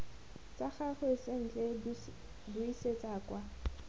tsa gagwe sentle buisetsa kwa